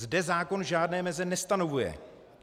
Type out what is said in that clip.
Zde zákon žádné meze nestanovuje.